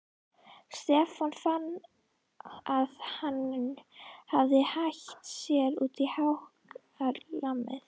Stefán fann að hann hafði hætt sér út á hákarlamið.